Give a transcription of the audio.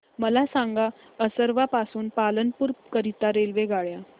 मला सांगा असरवा पासून पालनपुर करीता रेल्वेगाड्या